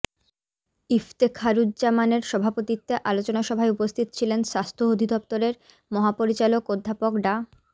ইফতেখারুজ্জামানের সভাপতিত্বে আলোচনা সভায় উপস্থিত ছিলেন স্বাস্থ্য অধিদপ্তরের মহাপরিচালক অধ্যাপক ডা